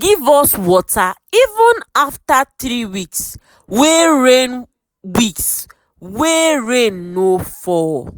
give us water even after three weeks wey rain weeks wey rain no fall.